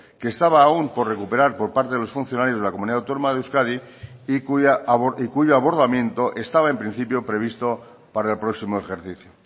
que estaba aún por recuperar por parte de los funcionarios de la comunidad autónoma de euskadi y cuyo abordamiento estaba en principio previsto para el próximo ejercicio